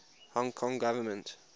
hong kong government